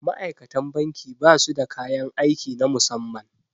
Ma'aikatan banki ba su da kayan aiki na musamman